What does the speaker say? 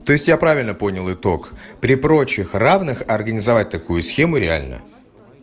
то есть я правильно понял итог при прочих равных организовать такую схему реально